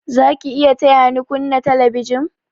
Za ki iya taya ni kunna telebijin?